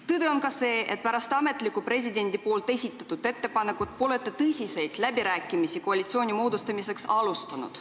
Tõde on ka see, et pärast ametlikku presidendi tehtud ettepanekut pole te tõsiseid läbirääkimisi koalitsiooni moodustamiseks alustanud.